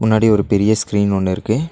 முன்னாடி ஒரு பெரிய ஸ்க்ரீன் ஒன்னு இருக்கு.